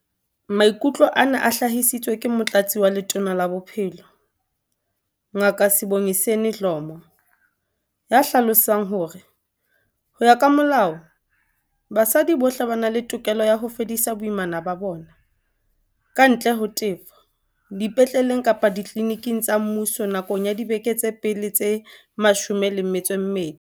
Maikutlo ana a hlahisitswe ke Motlatsi wa Letona la Bophelo, Ngaka Sibongiseni Dhlomo, ya hlalosang hore, ho ya ka molao, basadi bohle ba na le tokelo ya ho fedisa boimana ba bona, kantle ho tefo, dipetleleng kapa ditliliniking tsa mmuso nakong ya dibeke tsa pele tse 12.